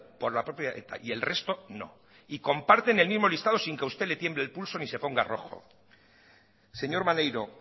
por la propia eta y el resto no y comparten el mismo listado sin que a usted le tiemble el pulso ni se ponga rojo señor maneiro